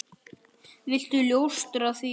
Viltu ljóstra því upp?